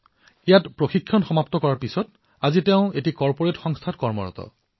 ইয়াত প্ৰশিক্ষণ সম্পূৰ্ণ হোৱাৰ পিছত আজি তেওঁ এক কৰ্পৰেট ভৱনত চাকৰি কৰি আছে